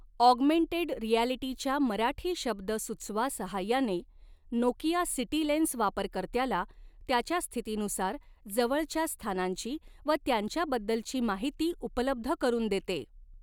Augmented रिॲलीटीच्या मराठी शब्द सुचवा सहाय्याने नोकिया सिटी लेन्स वापरकर्त्याला त्याच्या स्थितीनुसार जवळच्या स्थानांची व त्यांच्याबद्दलची माहिती उपलब्ध करून देते.